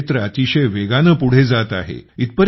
हे क्षेत्र अतिशय वेगाने पुढे जात आहे